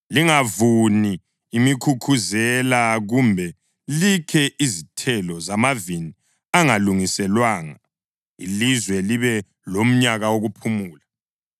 Lingavuni imkhukhuzela kumbe likhe izithelo zamavini angalungiselwanga, ilizwe libe lomnyaka wokuphumula.